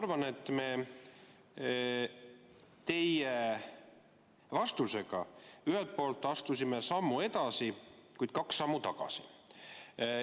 Ma arvan, et me teie vastusega astusime küll sammu edasi, kuid kaks sammu tagasi.